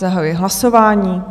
Zahajuji hlasování.